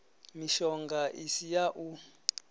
mishonga i si ya u